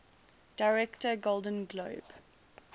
director golden globe